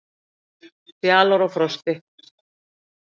Fjalar og Frosti,